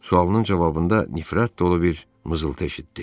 Sualının cavabında nifrət dolu bir mızıltı eşitdi.